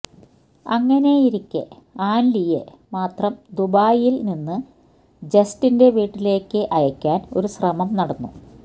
അങ്ങനെയിരിക്കെ ആൻലിയയെ മാത്രം ദുബായിൽ നിന്ന് ജസ്റ്റിന്റെ വീട്ടിലേക്ക് അയക്കാൻ ഒരു ശ്രമം നടന്നു